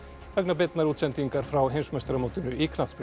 vegna beinnar útsendingar frá heimsmeistaramótinu í knattspyrnu